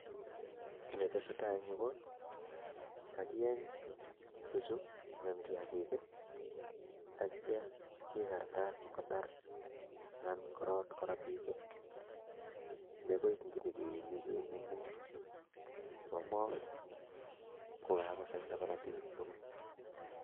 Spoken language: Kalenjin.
Ki netetsetai eng'yu ko kagieny tuchu anan kiyagik ii atcho kikartatat kotar anan korot korotik ii, negoi nebo nginyikeenye kenemu chebo moo kokagosaita korotik tugul.